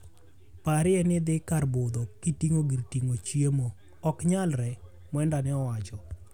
"Parie ni idhi kar budho kitingo gir tingo chiemo. Oknyalre." Mwenda ne owacho.